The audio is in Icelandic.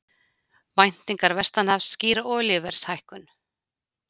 Væntingar vestanhafs skýra olíuverðshækkun